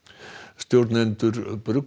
stjórnendur